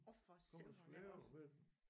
Oh for sevan da også